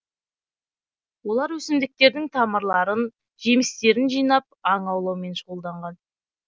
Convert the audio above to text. олар өсімдіктердің тамырларын жемістерін жинап аң аулаумен шұғылданған